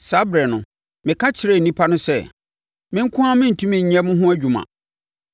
Saa ɛberɛ no, meka kyerɛɛ nnipa no sɛ, “Me nko ara merentumi nyɛ mo ho adwuma.